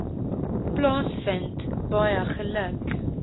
plaasvind baie geluk